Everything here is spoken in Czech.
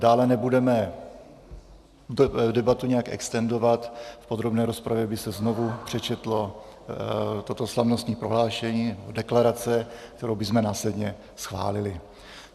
Dále nebudeme debatu nějak extendovat, v podrobné rozpravě by se znovu přečetlo toto slavnostní prohlášení, deklarace, kterou bychom následně schválili.